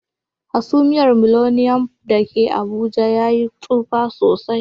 Hasumiyar Millennium da ke Abuja ta Yi tsufa sosai.